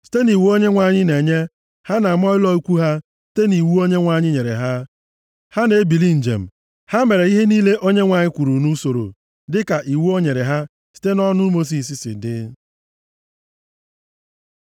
Site nʼiwu Onyenwe anyị na-enye, ha na-ama ụlọ ikwu ha, sitekwa nʼiwu Onyenwe anyị nyere ha, ha na-ebili njem. Ha mere ihe niile Onyenwe anyị kwuru nʼusoro dịka iwu o nyere ha site nʼọnụ Mosis si dị.